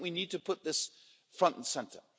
So I think we need to put this front and centre.